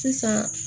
Sisan